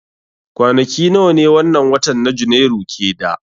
Kwanaki nawa ne wannan watan na janairu ke da